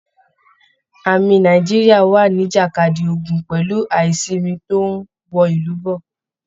Ámì Nàìjíríà wà nijakadi ogun pẹ̀lú aisinmi tó n wọ ìlú bọ́.